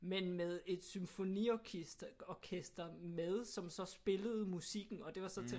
Men med et symfoniorkester orkester med som spillede musikken og det var så til